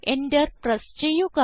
Enter press ചെയ്യുക